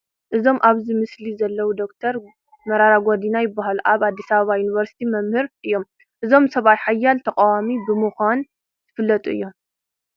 እዞም ኣብዚ ምስሊ ዘለዉ ዶክተር መራራ ጉዲና ይበሃሉ፡፡ ኣብ ኣዲስ ኣበባ ዩኒቨርሲቲ መምህር እዮም፡፡ እዞም ሰብኣይ ሓያል ተቓዋሚ ብምዃን ዝፍለጡ እዮም፡፡